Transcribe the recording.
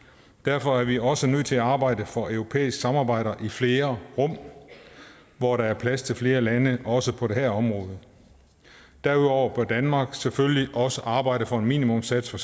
derfor er vi også nødt til at arbejde for europæisk samarbejde i flere rum hvor der er plads til flere lande også på det her område derudover bør danmark selvfølgelig også arbejde for en minimumssats for